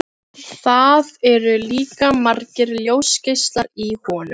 Það eru líka margir ljósgeislar í honum.